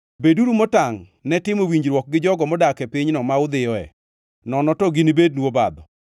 Beduru motangʼ ne timo winjruok gi jogo modak e pinyno ma udhiyoe, nono to ginibednu obadho.